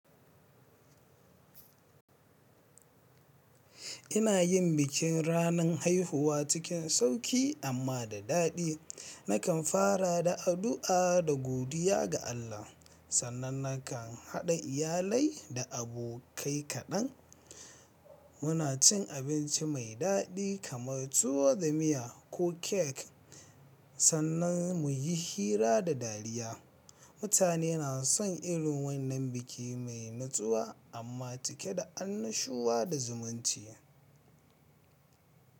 Ina yin bikin ranan haihuwa cikin sauƙi amma da daɗi. Nakan fara da addu'a da godiya ga Allah, sannan nakan haɗa iyalai da abokai kaɗan. Muna cin abinci mai daɗi kamar tuwo da miya ko cake, sannan mu yi hira da dariya. Mutane na son irin wannan biki mai natsuwa amma cike da annashuwa da zumunci.